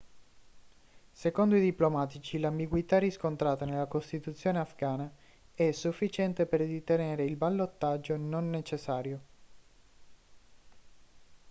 secondo i diplomatici l'ambiguità riscontrata nella costituzione afghana è sufficiente per ritenere il ballottaggio non necessario